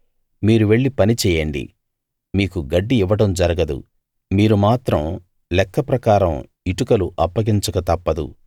మీరు వెళ్లి పని చెయ్యండి మీకు గడ్డి ఇవ్వడం జరగదు మీరు మాత్రం లెక్క ప్రకారం ఇటుకలు అప్పగించక తప్పదు